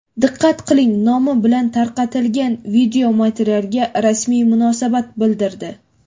diqqat qiling nomi bilan tarqatilgan videomaterialga rasmiy munosabat bildirdi.